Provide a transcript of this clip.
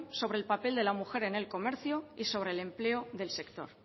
sobre el papel de la mujer en el comercio y sobre el empleo del sector